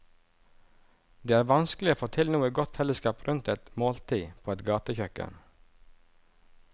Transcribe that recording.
Det er vanskelig å få til noe godt fellesskap rundt et måltid på et gatekjøkken.